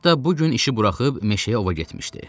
Hətta bu gün işi buraxıb meşəyə ova getmişdi.